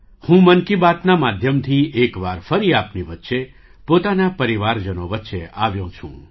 હું 'મન કી બાત'ના માધ્યમથી એક વાર ફરી આપની વચ્ચે પોતાના પરિવારજનો વચ્ચે આવ્યો છું